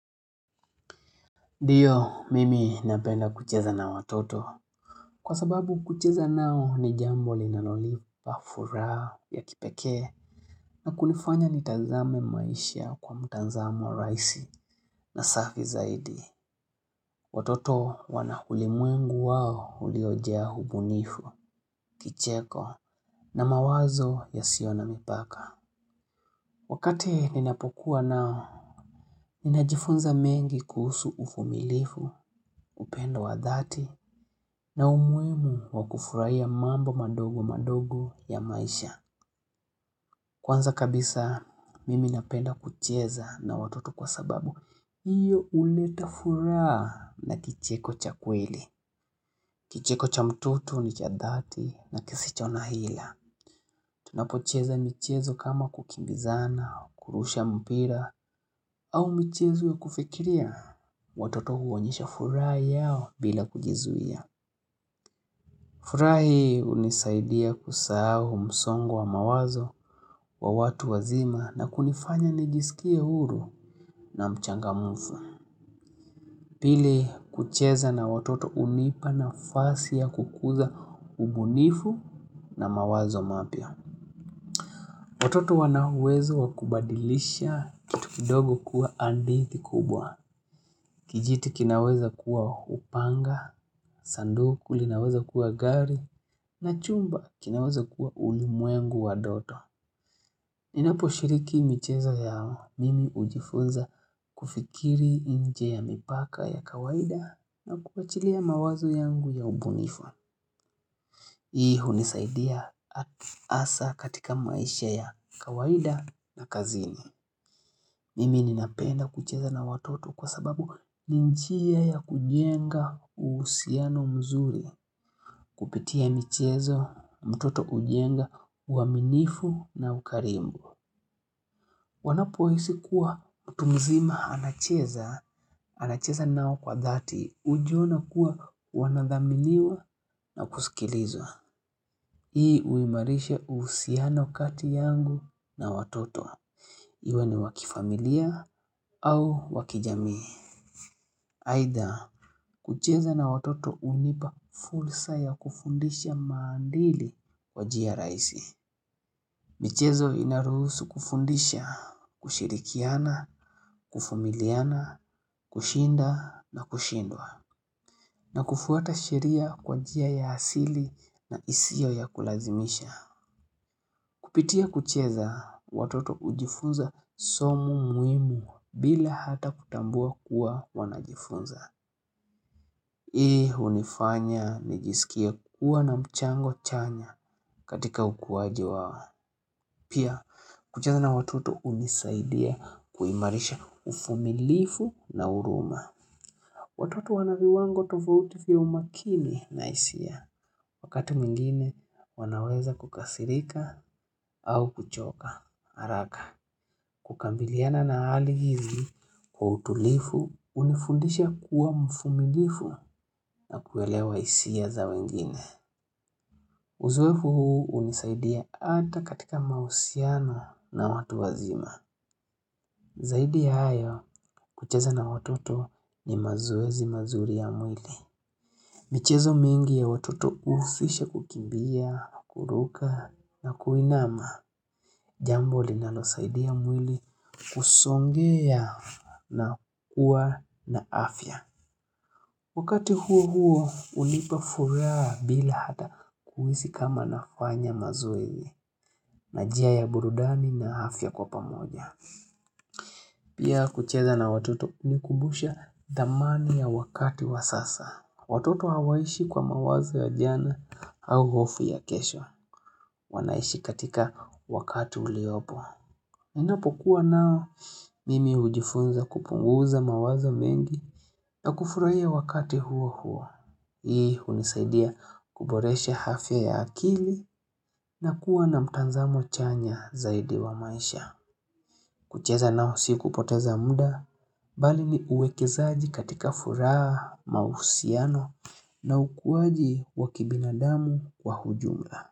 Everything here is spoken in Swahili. Ndio, mimi napenda kucheza na watoto. Kwa sababu kucheza nao ni jambo linanopa furaha ya kipeke. Na kunifanya nitazame maisha kwa mutazamo raisi na safi zaidi. Watoto wana ulimwengu wao uliojqa ubunifu, kicheko, na mawazo yasiyo na mipaka. Wakati ninapokuwa nao, ninajifunza mengi kuhusu uvumilifu, upendo wa dhati, na umuhimu wa kufurahia mambo madogo madogo ya maisha. Kwanza kabisa mimi napenda kucheza na watoto kwa sababu. hIyo uleta furaha na kicheko cha kweli. Kicheko cha mtoto ni cha dhati na kisicho na hila. Tunapocheza michezo kama kukimbizana, kurusha mpira, au michezo ya kufikiria. Watoto huonyesha furaha yao bila kujizuia. Furaha hii unisaidia kusahau msongo wa mawazo wa watu wazima na kunifanya nijisikie huru na mchangamufu. Pili kucheza na watoto unipa nafasi ya kukuza ubunifu na mawazo mapya. Watoto wana uwezo wa kubadilisha kitu kidogo kuwa hadithi kubwa. Kijiti kinaweza kuwa upanga, sanduku linaweza kuwa gari, na chumba kinaweza kuwa ulimwengu wa ndoto. Ninapo shiriki micheza yao, mimi ujifunza kufikiri nje ya mipaka ya kawaida na kuachilia mawazo yangu ya ubunifu. Hii unisaidia hasa katika maisha ya kawaida na kazini. Mimi ninapenda kucheza na watoto kwa sababu ni njia ya kujenga uhusiano mzuri. Kupitia michezo, mtoto ujenga, uaminifu na ukarimu. Wanapo hisi kuwa mtu mzima anacheza, anacheza nao kwa dhati. Ujiona kuwa wanadhaminiwa na kusikilizwa. Hii uimarisha uhusiano kati yangu na watoto. Iwe ni wa kifamilia au wa kijamii. Aidha kucheza na watoto unipa fursa ya kufundisha maadiri kwa njia raisi michezo inaruhusu kufundisha, kushirikiana, kuvumiliana, kushinda na kushindwa na kufuata sheria kwa njia ya asili na isiyo ya kulazimisha Kupitia kucheza, watoto hujifunza somo muhimu bila hata kutambua kuwa wanajifunza Hii unifanya nijisikie kuwa na mchango chanya katika ukuaji wao. Pia kucheza na watoto unisaidia kuimarisha uvumilifu na huruma. Watoto wana viwango tofauti vya umakini na hisia. Wakati mwingine wanaweza kukasirika au kuchoka. Haraka. Kukabiliana na hali hizi kwa utulivu unifundisha kuwa mvumilivu na kuelewa hisia za wengine. Uzoefu huu unisaidia hata katika mahusiano na watu wazima. Zaidi ya hayo kucheza na watoto ni mazoezi mazuri ya mwili. Michezo mingi ya watoto ufisha kukimbia, kuruka na kuinama. Jambo linalosaidia mwili kusongea na kuwa na afya. Wakati huo huo unipa furaha bila hata kuhisi kama nafanya mazoezi na njia ya burudani na afya kwa pamoja. Pia kucheza na watoto hunikumbusha dhamani ya wakati wa sasa. Watoto hawaishi kwa mawazo ya jana au hofu ya kesho. Wanaishi katika wakati uliopo. Inapo kuwa nao mimi ujifunza kupunguza mawazo mengi na kufurahia wakati huo huo. Hii unisaidia kuboresha afya ya akili na kuwa na mtazamo chanya zaidi wa maisha. Kucheza nao si kupoteza muda, bali ni uwekezaji katika furaha mahusiano na ukuwaji wa kibinadamu kwa ujumla.